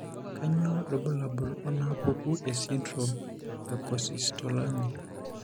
Kainyio irbulabul onaapuku esindirom eKosztolanyi?